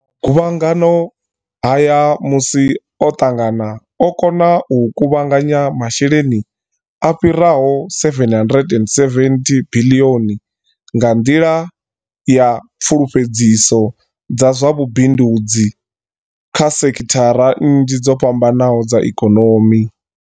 Guvhangano haya musi o ṱangana, o kona u kuvhanganya masheleni a fhiraho R770 biḽioni nga nḓila ya pfulufhedziso dza zwa vhu bindudzi kha sekhithara nnzhi dzo fhambanaho dza ikonomi.